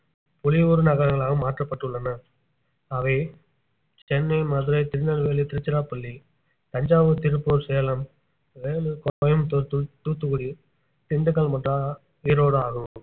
பொலிவுறு நகரங்களாக மாற்றப்பட்டுள்ளன அவை சென்னை மதுரை திருநெல்வேலி திருச்சிராப்பள்ளி தஞ்சாவூர் திருப்பூர் சேலம் வேலூர் கோயம்புத்தூர் தூத்~ தூத்துக்குடி திண்டுக்கல் மற்றும் ஆஹ் ஈரோடு ஆகும்